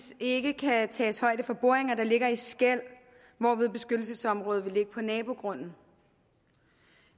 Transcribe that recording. ikke kan tages højde for boringer der ligger i skel hvorved beskyttelsesområdet vil ligge på nabogrunden